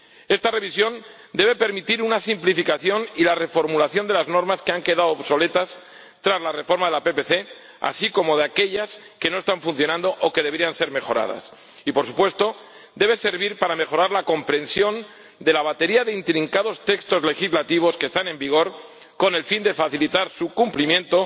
Esta revisión debe permitir una simplificación y la reformulación de las normas que han quedado obsoletas tras la reforma de la PPC, así como de aquellas que no están funcionando o que deberían ser mejoradas, y, por supuesto, debe servir para mejorar la comprensión de la batería de intrincados textos legislativos que están en vigor con el fin de facilitar su cumplimiento